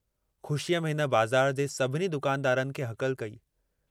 ख़ुशीअ में हिन बाज़ार जे सभिनी दुकानदारनि खे हकल कई।